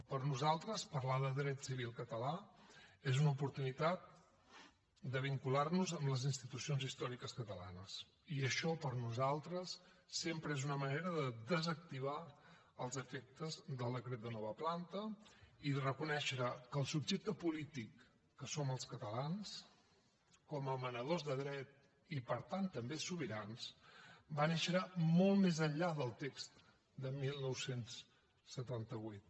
per nosaltres parlar de dret civil català és una oportunitat de vincular nos amb les institucions històriques catalanes i això per nosaltres sempre és una manera de desactivar els efectes del decret de nova planta i de reconèixer que el subjecte polític que som els catalans com a emanadors de dret i per tant també sobirans va néixer molt més enllà del text de dinou setanta vuit